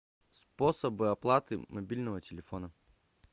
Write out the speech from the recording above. способы оплаты мобильного телефона